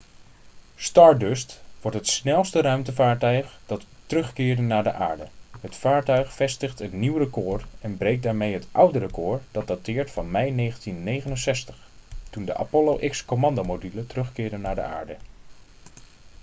stardust wordt het snelste ruimtevaartuig dat terugkeert naar de aarde het vaartuig vestigt een nieuw record en breekt daarmee het oude record dat dateert van mei 1969 toen de apollo x-commandomodule terugkeerde naar de aarde